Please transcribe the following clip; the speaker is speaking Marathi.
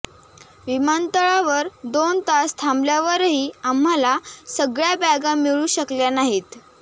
विमानतळावर दोन तास थांबल्यावरही आम्हाला सगळ्या बॅगा मिळू शकल्या नाहीत